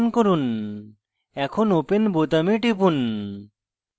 এখন open বোতামে টিপুন